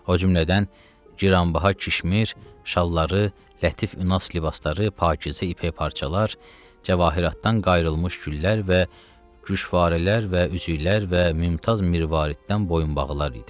O cümlədən ciranbaha keşmir şalları, lətif ünass libasları, pakizə ipək parçalar, cavahiratdan qayılmış güllər və güşvarilər və üzüklər və mümtaz mirvariddən boyunbağılar idi.